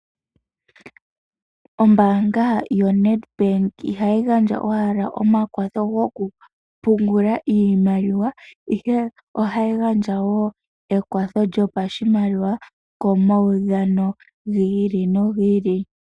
Ombaanga yoNedbank ihayi gandja owala omakwatho gokupungula iimaliwa, ihe ohayi gandja wo ekwatho lyopashimaliwa, komaudhano gi ili nogi ili.